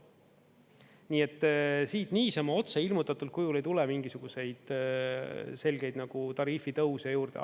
Nii et siit niisama otse ilmutatud kujul ei tule mingisuguseid selgeid tariifitõuse juurde.